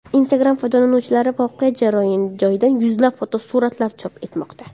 Instagram foydalanuvchilari voqea joyidan yuzlab fotosuratlar chop etmoqda.